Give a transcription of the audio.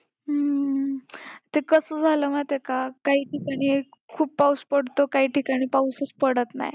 हम्म ते कसं झालं माहिती आहे का काही ठिकाणी खूप पाऊस पडतो काही ठिकाणी पाऊसच पडत नाही.